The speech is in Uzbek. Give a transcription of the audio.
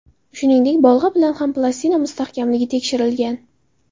Shuningdek, bolg‘a bilan ham plastina mustahkamligi tekshirilgan.